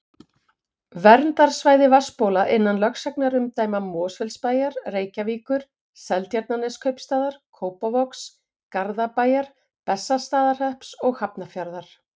Verndarsvæði vatnsbóla innan lögsagnarumdæma Mosfellsbæjar, Reykjavíkur, Seltjarnarneskaupstaðar, Kópavogs, Garðabæjar, Bessastaðahrepps og Hafnarfjarðar.